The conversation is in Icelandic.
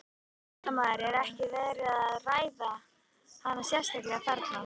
Fréttamaður: Ekkert verið að ræða hana sérstaklega þarna?